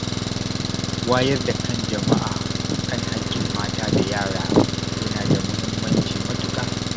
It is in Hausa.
Wayar da kan jama’a kan haƙƙin mata da yara yana da mahimmanci matuƙa.